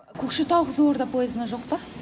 көкшетау қызылорда поезына жоқ па